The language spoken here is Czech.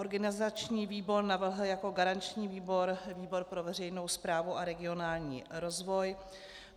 Organizační výbor navrhl jako garanční výbor výbor pro veřejnou správu a regionální rozvoj.